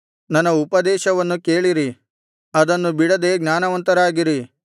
ನನ್ನ ಉಪದೇಶವನ್ನು ಕೇಳಿರಿ ಅದನ್ನು ಬಿಡದೆ ಜ್ಞಾನವಂತರಾಗಿರಿ